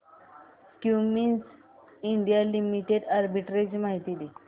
Cummins India limited arbitrage माहिती दे